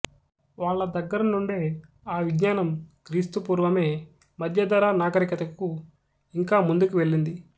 వాళ్ళ దగ్గరనుండే ఆ విజ్ఞానం క్రీస్తుపూర్వమే మధ్యధరా నాగరికతకు ఇంకా ముందుకు వెళ్ళింది